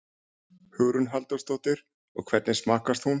Hugrún Halldórsdóttir: Og hvernig smakkast hún?